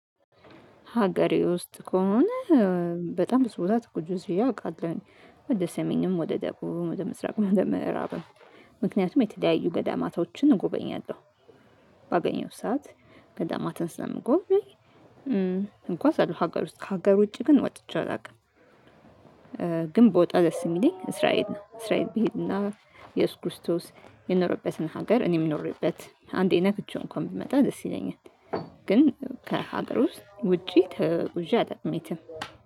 ሀገሬ ውስጥ ከሆነ በጣም ብዙ ቦታ ተጉዤ አውቃለሁ። ወደ ሰሜንም ወደ ደቡብም ወደ ምስራቅ ወደ ምዕራብ ነው። ምክንያቱም የተለያዪ ገዳማቶችን እጎበኛለሁ። ባገኘሁት ሰዓት ገዳማትን ስለምጎኝ እጓዛለው። ሀገር ውስጥ ከሀገር ውጪ ግን ወጥቼ አላውቅም። ግን ብወጣ ደስ የሚለኝ እስራኤል ነው። እስራኤል ቢሄድና የየሱስ ክርስቶስ የኖረበትን ሀገር እኔ የምኖርበት አንዴ ነክቼው እንኳን ብመጣ ደስ ይለኛል። ግን ከሀገር ውስጥ ውጪ ተጉዤ አላውቅም የትም።